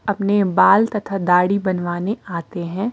अपने बाल तथा दाढ़ी बनवाने आते हैं।